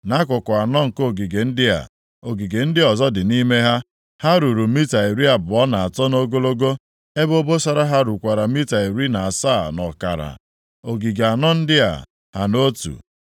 Nʼakụkụ anọ nke ogige ndị a, ogige ndị ọzọ dị nʼime ha. Ha ruru mita iri abụọ na atọ nʼogologo, ebe obosara ha rukwara mita iri na asaa nʼọkara. Ogige anọ ndị a ha nʼotu.